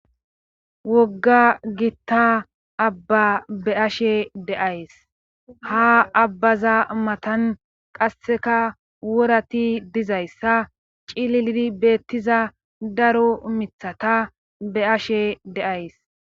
Wogga gitta abba be ashe deays ha abbaza matan qasseka worati dizayssa cilldi beettiza daro mithata be ashe deays.